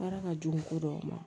Baara ka jugu ko dɔw ma